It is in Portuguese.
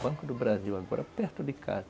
Banco do Brasil, agora perto de casa.